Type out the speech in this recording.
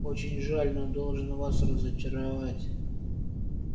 очень жаль но должен вас разочаровать